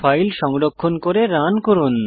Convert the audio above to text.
file সংরক্ষণ করে run করুন